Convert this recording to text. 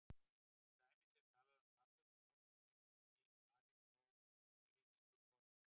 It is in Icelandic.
Til dæmis er talað um platónska ást og leikrit á aristótelísku formi.